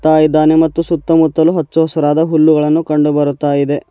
ಡಾ ಇದ್ದಾನೆ ಮತ್ತು ಸುತ್ತಮುತ್ತಲು ಹಚ್ಚು ಹಸುರದಾ ಹುಲ್ಲುಗಳನ್ನು ಕಂಡು ಬರುತ್ತಾ ಇವೆ.